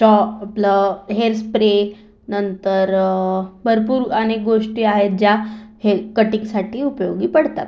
या आपलं hair spray नंतर अ भरपूर अनेक गोष्टी आहेत ज्या हे कटींग साठी उपयोगी पडतात.